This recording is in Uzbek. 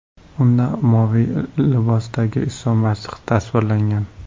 Unda moviy libosdagi Iso Masih tasvirlangan.